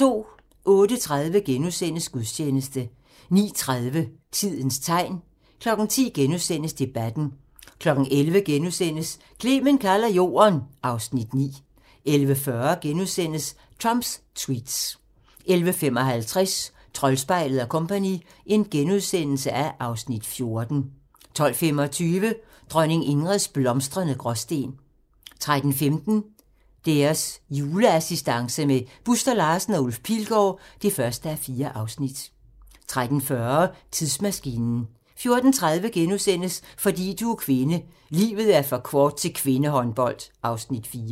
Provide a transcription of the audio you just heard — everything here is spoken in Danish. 08:30: Gudstjeneste * 09:30: Tidens tegn 10:00: Debatten * 11:00: Clement kalder Jorden (Afs. 9)* 11:40: Trumps tweets * 11:55: Troldspejlet & Co. (Afs. 14)* 12:25: Dronning Ingrids blomstrende Gråsten 13:15: Deres juleassistance med Buster Larsen og Ulf Pilgaard (1:4) 13:40: Tidsmaskinen 14:30: Fordi du er kvinde: Livet er for kort til kvindehåndbold (Afs. 4)*